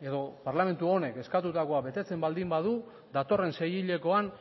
edo parlamentu honek eskatutakoa betetzen baldin badu datorren seihilekoan